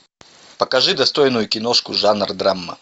покажи достойную киношку жанр драма